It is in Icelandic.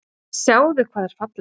Sjáðu hvað er fallegt.